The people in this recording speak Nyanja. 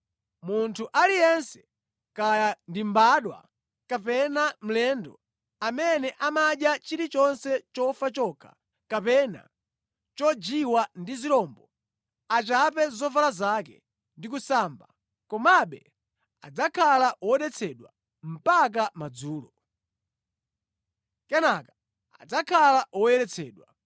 “ ‘Munthu aliyense, kaya ndi mbadwa kapena mlendo, amene amadya chilichonse chofa chokha, kapena chojiwa ndi zirombo, achape zovala zake ndi kusamba, komabe adzakhala wodetsedwa mpaka madzulo. Kenaka adzakhala woyeretsedwa.